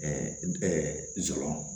zoro